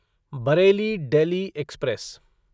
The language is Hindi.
बरेली डेल्ही एक्सप्रेस